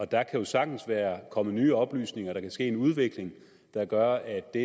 der kan jo sagtens være kommet nye oplysninger der kan være sket en udvikling der gør at det